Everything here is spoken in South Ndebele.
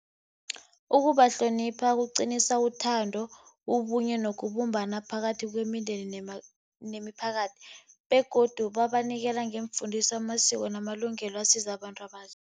Ukubahlonipha kuqinisa ithando, ubunye nokubumbana phakathi kwemindeni nemiphakathi. Begodu babanikela ngeemfundiso, amasiko namalungelo asiza abantu